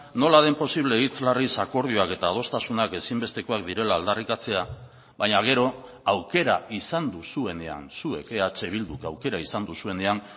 nola den posible hitz larriz akordioak eta adostasunak ezinbestekoak direla aldarrikatzea baina gero aukera izan duzuenean zuek eh bilduk aukera izan duzuenean